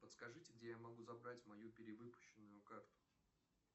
подскажите где я могу забрать мою перевыпущенную карту